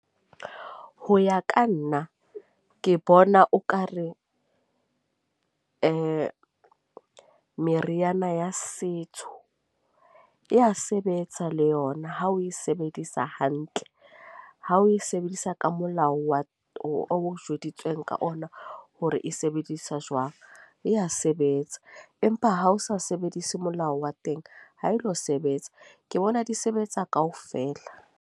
Ho ya ka nna ke bona okare eh meriana ya setso, e ya sebetsa le yona. Ha o e sebedisa hantle, ha o e sebedisa ka molao wa o jweditswe ka ona hore e sebedisa jwang. E ya sebetsa empa ha o sa sebedise molao wa teng, ha e lo sebetsa. Ke bona di sebetsa kaofela.